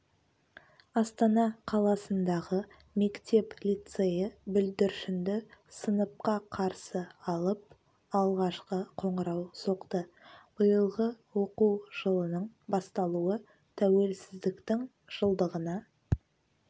астана қаласындағы мектеп-лицейі бүлдіршінді сыныпқа қарсы алып алғашқы қоңырау соқты биылғы оқу жылының басталуы тәуелсіздіктің жылдығына